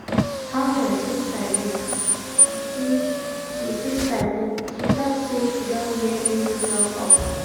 how your sister dey? she sister dey? she talk say she don get new job offer